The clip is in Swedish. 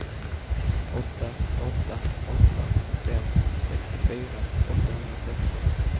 åtta åtta åtta fem sextiofyra åttahundrasexton